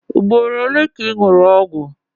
Ugboro ole ka ị ṅụrụ ọgwụ?